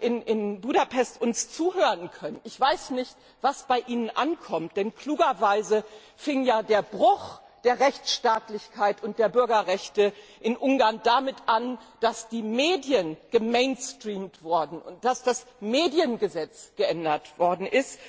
in Budapest uns zuhören können, ich weiß nicht, was bei ihnen ankommt, denn klugerweise fing ja der Bruch der Rechtsstaatlichkeit und der Bürgerrechte in Ungarn damit an, dass die Medien gemainstreamt wurden und dass das Mediengesetz geändert worden ist.